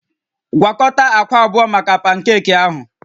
Gwakọta akwa abụọ maka pankeeki ahụ